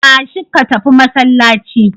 Tashi ka tafi masallaci.